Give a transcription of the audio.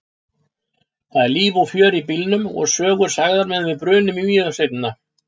Það er líf og fjör í bílnum og sögur sagðar meðan við brunum í Mývatnssveitina.